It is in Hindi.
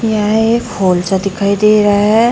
यह एक हॉल सा दिखाई दे रहा है।